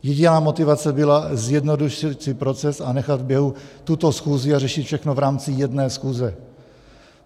Jediná motivace byla zjednodušit si proces a nechat v běhu tuto schůzi a řešit všechno v rámci jedné schůze.